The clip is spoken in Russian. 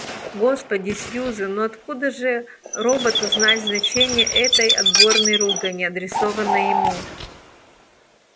господи сьюзен ну откуда же роботу знать значение этой отборной ругани адресованной ему